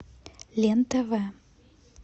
лен тв